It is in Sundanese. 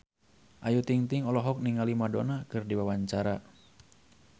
Ayu Ting-ting olohok ningali Madonna keur diwawancara